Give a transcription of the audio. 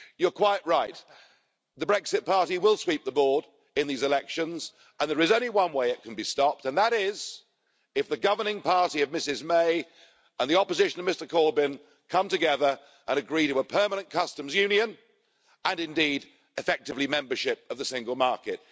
You're quite right, the Brexit party will sweep the board in these elections and there is only one way it can be stopped and that is if the governing party of Ms May and the opposition of Mr Corbyn come together and agree to a permanent customs union and indeed effectively membership of the single market.